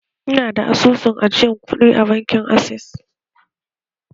Ina da asusun ajiye kuɗi a bankin access.